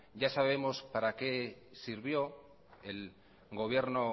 ya sabemos para qué sirvió el gobierno